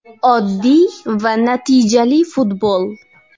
Oddiy va natijali futbol.